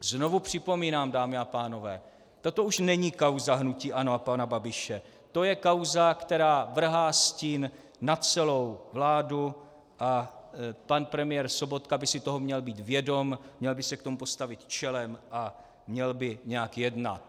Znovu připomínám, dámy a pánové, toto už není kauza hnutí ANO a pana Babiše, to je kauza, která vrhá stín na celou vládu, a pan premiér Sobotka by si toho měl být vědom, měl by se k tomu postavit čelem a měl by nějak jednat.